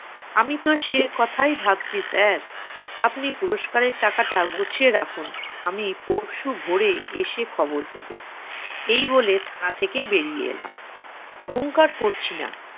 আমি তো সে কথাই ভাবছি sir । আপনি পুরুস্কারের টাকাটা গুছিয়ে রাখুন। আমি পরশু ভোরে এসে খবর দেব। এই বলে থানা থেকে বেরিয়ে এলাম। অহংকার করছি না,